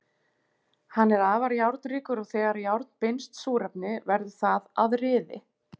Hann er afar járnríkur og þegar járn binst súrefni verður það að ryði.